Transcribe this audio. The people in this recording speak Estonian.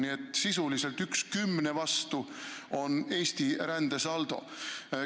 Nii et sisuliselt on Eesti rändesaldo üks kümne vastu.